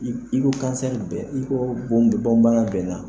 I ko ko i ko bon bana bɛnna.